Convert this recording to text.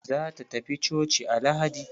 Za ta tafi coci a lahadi.